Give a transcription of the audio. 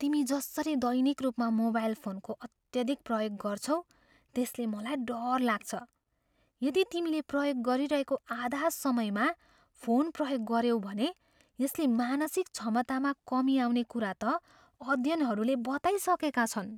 तिमी जसरी दैनिक रूपमा मोबाइल फोनको अत्यधिक प्रयोग गर्छौ, त्यसले मलाई डर लाग्छ। यदि तिमीले प्रयोग गरिरहेको आधा समयमा फोन प्रयोग गऱ्यौ भने यसले मानसिक क्षमतामा कमी आउने कुरा त अध्ययनहरूले बताइसकेका छन्।